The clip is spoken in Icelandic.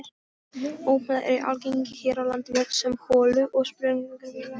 Ópalar eru algengir hér á landi sem holu- og sprungufyllingar.